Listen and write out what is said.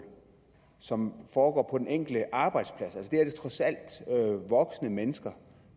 som foregår på den enkelte arbejdsplads det her er trods alt voksne mennesker